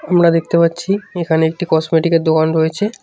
আমরা দেখতে পাচ্ছি এখানে একটি কসমেটিকের -এর দোকান রয়েছে।।